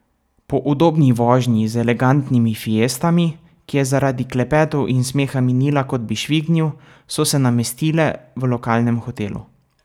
Po udobni vožnji z elegantnimi Fiestami, ki je zaradi klepetov in smeha minila, kot bi švignil, so se namestile v lokalnem hotelu.